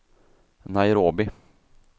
Nairobi